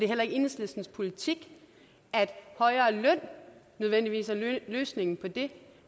heller ikke enhedslistens politik at højere løn nødvendigvis er løsningen på det